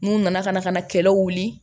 N'u nana ka na ka na kɛlɛ wuli